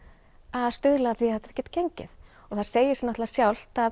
að stuðla að því að þetta geti gengið það segir sig alveg sjálft að